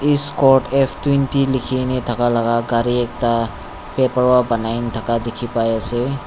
scort F twenty thaka laga gari ekta dikhi pai ase.